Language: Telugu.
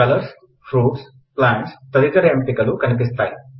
కలర్స్ ఫ్రూట్స్ప్లాంట్స్ తదితర ఎంపికలు కనిపిస్తాయి